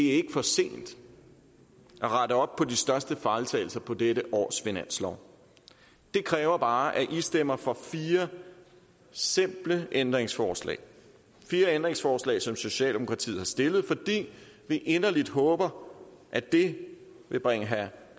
ikke for sent at rette op på de største fejltagelser på dette års finanslov det kræver bare at i stemmer for fire simple ændringsforslag fire ændringsforslag som socialdemokratiet har stillet fordi vi inderligt håber at det vil bringe herre